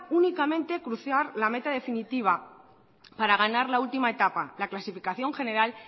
únicamente cruzar la meta definitiva para ganar la última etapa la clasificación general